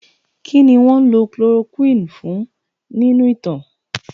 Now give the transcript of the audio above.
Kí ni wọ́n ń lò chloroquine fún nínú ìtàn?